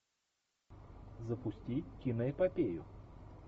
запусти киноэпопею